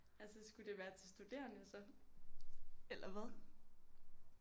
Altså skulle det være til studerende så? Eller hvad?